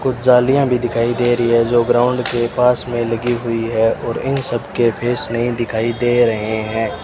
कुछ जालियां भी दिखाई दे रही है जो ग्राउंड के पास में लगी हुई है और इन सबके फेस नहीं दिखाई दे रहे है।